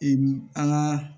an ka